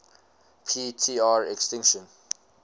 p tr extinction